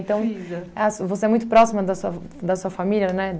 as você é muito próxima da sua da sua família, né?